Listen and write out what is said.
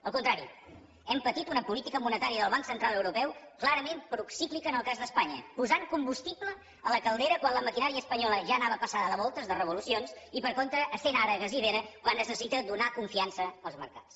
al contrari hem patit una política monetària del banc central europeu clarament procíclica en el cas d’espanya posant combustible a la caldera quan la maquinària espanyola ja anava passada de voltes de revolucions i per contra essent ara gasiva quan es necessita donar confiança als mercats